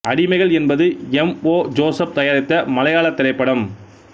அடிமைகள் என்பது M O Joseph தயாரித்த மலையாளத் திரைப்படம்